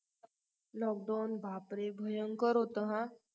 lockdown बापरे भयंकर होतं ह